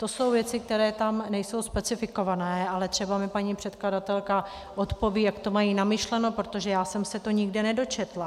To jsou věci, které tam nejsou specifikované, ale třeba mi paní předkladatelka odpoví, jak to mají namyšleno, protože já jsem se to nikde nedočetla.